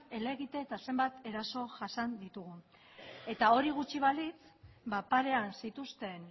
helegite eta zenbat eraso jasan ditugun eta hori gutxi balitz ba parean zituzten